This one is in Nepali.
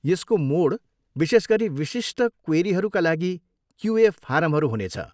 यसको मोड विशेष गरी विशिष्ट क्वेरीहरूका लागि क्युए फारमहरू हुनेछ।